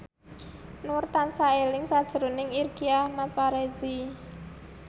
Nur tansah eling sakjroning Irgi Ahmad Fahrezi